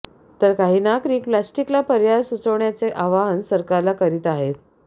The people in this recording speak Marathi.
तर काही नागरिक प्लास्टिकला पर्याय सुचवण्याचे आवाहन सरकारला करीत आहेत